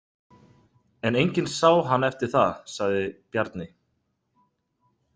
En enginn sá hann eftir það, sagði Bjarni.